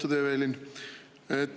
Lugupeetud Evelin!